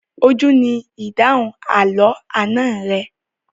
Ojú ni ìdáhùn àlọ́ àná rẹ.